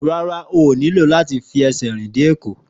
Rárá, ó nílò láti fi ẹsẹ̀ rìn dé Èkó